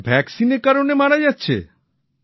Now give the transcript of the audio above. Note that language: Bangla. আচ্ছা টিকা এর কারনে মারা যাচ্ছে